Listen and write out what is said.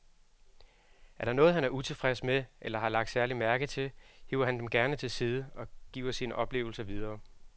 Er der noget, han er utilfreds med eller har lagt særlig mærke til, hiver han dem gerne til side og giver sine oplevelser videre.